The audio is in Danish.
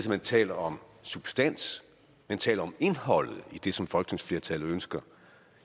at man taler om substans taler om indholdet i det som et folketingsflertal ønsker